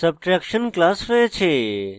subtraction class রয়েছে